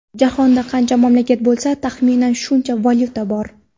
Jahonda qancha mamlakat bo‘lsa, taxminan shuncha valyuta bor.